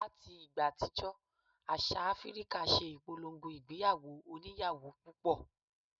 Láti ìgbà àtijọ́ àṣà Áfíríkà ṣe ìpolongo ìgbéyàwó oníyàwó púpọ̀